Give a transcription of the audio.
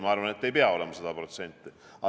Ma arvan, et see ei pea olema 100%.